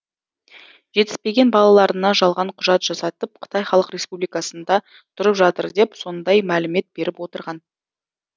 жетіспеген балаларына жалған құжат жасатып қытай халық республикасында тұрып жатыр деп сондай мәлімет беріп отырған